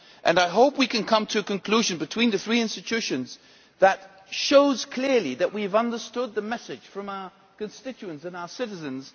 I hope we can come to a conclusion between the three institutions that shows clearly that we have understood the message from our constituents and our citizens.